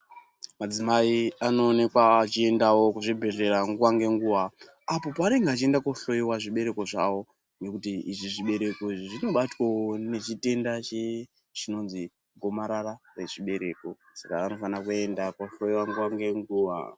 Adzimai ano onekwa achi endawo ku zvibhedhleya nguva nge nguva apo paanenge achienda ko hloyiwa zvibereko zvawo ngekuti izvi zvibereko izvi zvino batwawo ne chitenda che chinonzi gomarara re zvibereko saka vanofana kuenda ko hloyiwa nguva nge nguva.